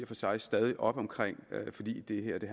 for sig stadig op omkring fordi det her i